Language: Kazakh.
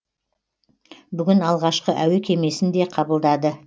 бүгін алғашқы әуе кемесін де қабылдады